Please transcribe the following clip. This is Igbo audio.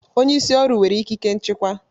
Onye isi ọrụ nwere ikike nchịkwa